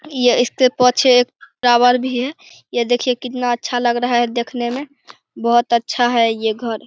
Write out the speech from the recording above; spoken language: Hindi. यह इसके पीछे एक फ्लावर भी है। ये देखिये कितना अच्छा लग रहा है देखने में बहोत अच्छा है ये घर --